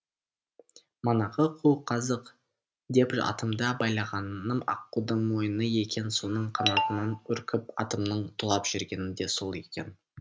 манағы қу қазық деп атымды байлағаным аққудың мойны екен соның қанатынан үркіп атымның тулап жүргені де сол екен